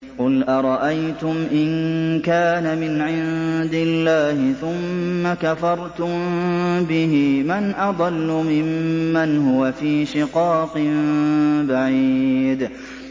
قُلْ أَرَأَيْتُمْ إِن كَانَ مِنْ عِندِ اللَّهِ ثُمَّ كَفَرْتُم بِهِ مَنْ أَضَلُّ مِمَّنْ هُوَ فِي شِقَاقٍ بَعِيدٍ